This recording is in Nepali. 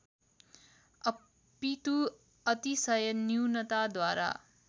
अपितु अतिशय न्यूनताद्वारा